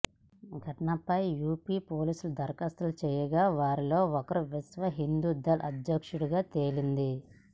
ఘటనపై యూపీ పోలీసులు ధర్యాప్తు చేయగా వారిలో ఒకరు విశ్వ హిందూ దళ్ అధ్యక్షుడిగా తేలింది